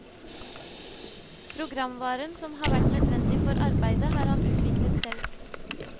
Programvaren som har vært nødvendig for arbeidet har han utviklet selv.